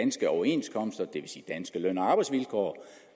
overenskomster det vil sige danske løn og arbejdsvilkår